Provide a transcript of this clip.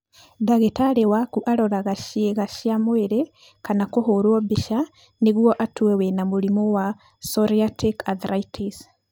Ndagĩtarĩ waku aroraga ciĩga cia mwĩrĩ kana kũhũrwo mbica nĩguo atue wĩna mũrimũ wa psoriatic arthritis.